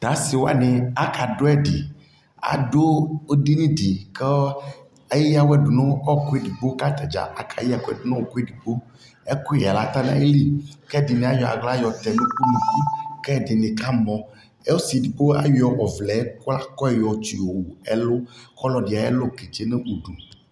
Ta asi wani aka du ɛdi Adu ɛdιnι dι kɔ ɛya wɛ du nu ɔɔku ɛdigbo kata dza aka yɛ nu ɔɔku ɛdigboƐkuyɛ ata na yi liKɛdi ni ayɔ aɣla yɔtɛ nunuku kɛdini ka mɔƆsi ɛdigbo ayɔ ɔvlɛkwakɔ yɔ tsi yɔ wu ɛlu kʋ ɔlɔdi ayɛ lu kɛ dze nu udu